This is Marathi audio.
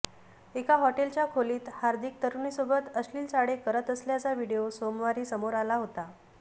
एका हॉटेलच्या खोलीत हार्दिक तरुणीसोबत अश्लिल चाळे करत असल्याचा व्हिडिओ सोमवारी समोर आला होता